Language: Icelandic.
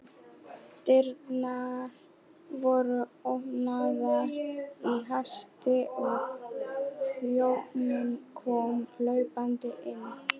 Dyrnar voru opnaðar í hasti og þjónn kom hlaupandi inn.